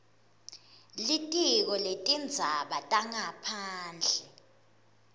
litiko letindzaba tangaphandle